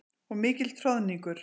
Og mikill troðningur.